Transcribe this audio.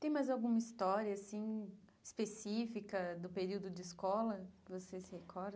Tem mais alguma história, assim, específica do período de escola que você se recorda?